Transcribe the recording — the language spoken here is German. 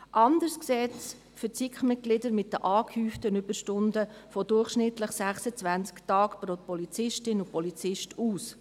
Anders sieht es für die SiK-Mitglieder bei den angehäuften Überstunden von durchschnittlich 26 Tagen pro Polizistin und Polizist aus.